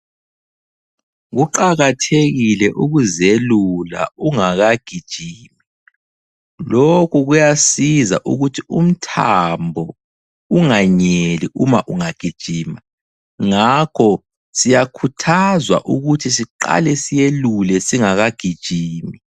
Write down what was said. Kuqakathekile ukuzelula ungakagijimi, lokhu kuyasiza ukuthi umthambo unganyeli uma ungagijima. Ngakho siyakhuthazwa ukuthi siqale siyelule singakagijimi.